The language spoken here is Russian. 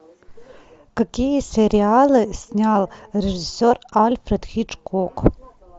какие сериалы снял режиссер альфред хичкок